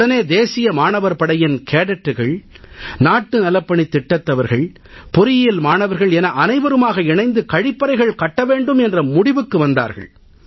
உடனே தேசிய மாணவர் படையின் கேடட்டுகள் நாட்டு நலப்பணித் திட்டத்தவர்கள் பொறியியல் மாணவர்கள் என அனைவருமாக இணைந்து கழிப்பறைகள் கட்ட வேண்டும் என்ற முடிவுக்கு வந்தார்கள்